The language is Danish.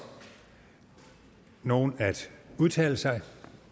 nogen at udtale sig